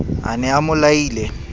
a ne a mo laile